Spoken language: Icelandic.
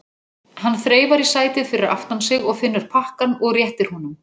Hann þreifar í sætið fyrir aftan sig og finnur pakkann og réttir honum.